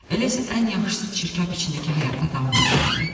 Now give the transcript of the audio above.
Elə isə ən yaxşısı çirkab içindəki həyata davam etməkdir.